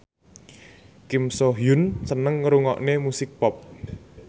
Kim So Hyun seneng ngrungokne musik pop